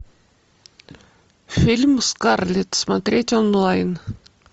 фильм скарлетт смотреть онлайн